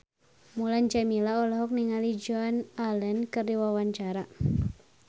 Mulan Jameela olohok ningali Joan Allen keur diwawancara